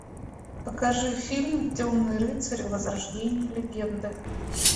покажи фильм темный рыцарь возрождение легенды